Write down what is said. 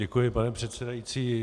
Děkuji, pane předsedající.